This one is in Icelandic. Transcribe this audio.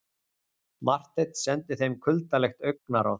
Marteinn sendi þeim kuldalegt augnaráð.